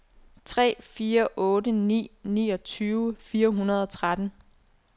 tre fire otte ni niogtyve fire hundrede og tretten